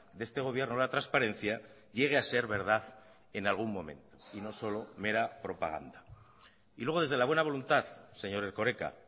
de este gobierno la transparencia llegue a ser verdad en algún momento y no solo mera propaganda y luego desde la buena voluntad señor erkoreka